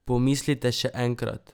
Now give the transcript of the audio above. Pomislite še enkrat!